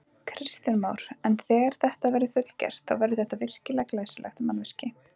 Kristján Már: En þegar þetta verður fullgert, þá verður þetta virkilega glæsilegt mannvirki?